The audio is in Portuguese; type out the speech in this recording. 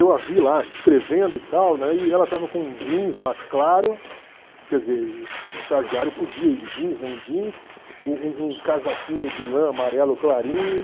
Eu a vi lá, escrevendo e tal, né, e ela estava com jeans mais claro, quer dizer, estagiário podia ir de jeans, né, um jeans, um um um casaquinho de lã amarelo clarinho.